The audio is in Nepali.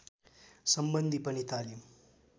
सम्बन्धी पनि तालिम